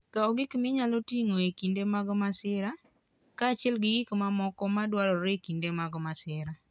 Kaw gik minyalo tigo e kinde mag masira, kaachiel gi gik mamoko madwarore e kinde mag masira.